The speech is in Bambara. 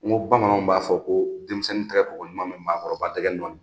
N ko bamananw b'a fɔ ko denmisɛnnin tɛgɛ ko ko ɲuman me maakɔrɔba dɛgɛ nɔɔni.